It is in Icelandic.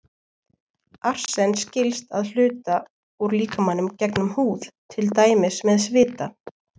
Arsen skilst að hluta út úr líkamanum gegnum húð, til dæmis með svita.